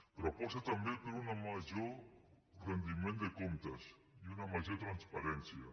però aposta també per un major rendiment de comptes i una major transparència